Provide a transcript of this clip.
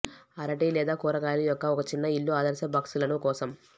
అరటి లేదా కూరగాయలు యొక్క ఒక చిన్న ఇల్లు ఆదర్శ బాక్సులను కోసం